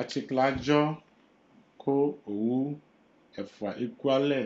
Atsiklɛ adzɔ Ku owu ɛfua ekualɛ,